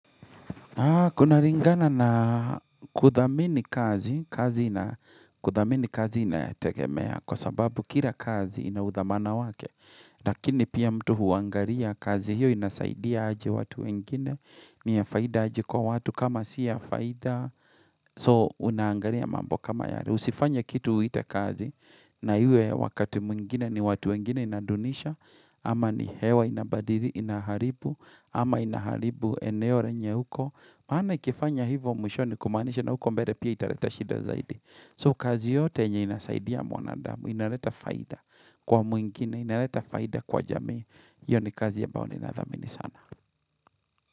Kuna ringana na kuthamini kazi, kazi na kuthamini kazi inatekemea kwa sababu kila kazi inauthamana wake. Lakini pia mtu huangaria kazi hiyo inasaidia aje watu wengine, ni ya faida aje kwa watu kama siya faida. So unaangaria mambo kama yari. Usifanya kitu uite kazi na hiyo wakati mwingine ni watu wengine inadunisha, Ama ni hewa inabadiri inaharibu Ama inaharibu eneo renye huko maana ikifanya hivyo mwisho ni kumanisha na huko mbele pia italeta shida zaidi So kazi yote yenye inasaidia mwanadamu Inaleta faida kwa mwingine Inaleta faida kwa jamii Iyo ni kazi ya ambayo ninathamini sana.